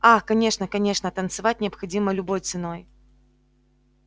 ах конечно конечно а танцевать необходимо любой ценой